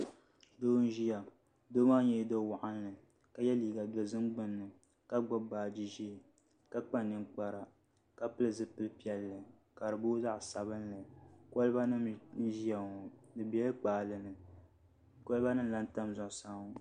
Doo n ʒiya doo maa nyɛla do waɣanli ka yɛ liiga dozim gbunni ka gbubi baaji ʒiɛ ka kpa ninkpara ka pili zipili piɛlli ka di booi zaɣ sabinli kolba nim n ʒiya ŋo di biɛla kpaalɛ ni kolba nim n lahi tam zuɣusaa ŋo